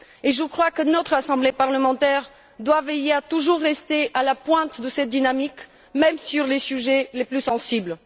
Je crois que notre assemblée parlementaire doit veiller à toujours rester à la pointe de cette dynamique même sur les sujets les plus sensibles.